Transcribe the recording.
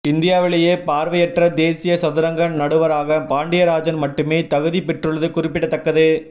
இந்தியாவிலேயே பார்வை யற்ற தேசிய சதுரங்க நடுவராக பாண்டியராஜன் மட்டுமே தகுதி பெற்றுள்ளது குறிப்பிடத்தக்கது